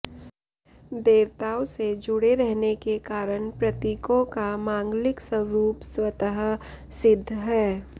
देवताओं से जुड़े रहने के कारण प्रतीकों का मांगलिक स्वरूप स्वतः सिद्ध है